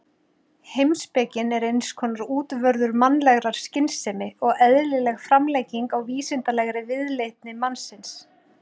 Heimspekin er eins konar útvörður mannlegrar skynsemi og eðlileg framlenging á vísindalegri viðleitni mannsins.